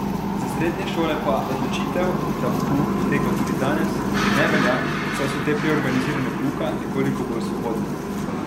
Za srednje šole pa odločitev, da bo pouk potekal tudi danes, ne velja, saj so te pri organiziranju pouka nekoliko bolj svobodne.